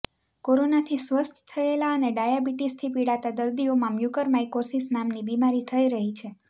કોરોનાથી સ્વસ્થ થયેલા અને ડાયાબિટિસથી પિડાતા દર્દીઓમાં મ્યુકર માઇક્રોસીસ નામની બીમારી થઇ રહી છે